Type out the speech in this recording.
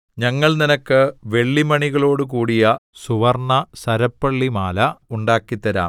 ഞങ്ങൾ നിനക്ക് വെള്ളിമണികളോടു കൂടിയ സുവർണ്ണസരപ്പളിമാല ഉണ്ടാക്കിത്തരാം